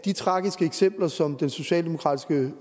de tragiske eksempler som den socialdemokratiske